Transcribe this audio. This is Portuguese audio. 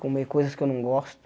Comer coisas que eu não gosto.